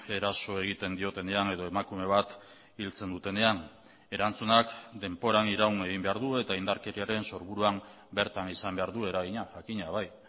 eraso egiten diotenean edo emakume bat hiltzen dutenean erantzunak denboran iraun egin behar du eta indarkeriaren sorburuan bertan izan behar du eragina jakina bai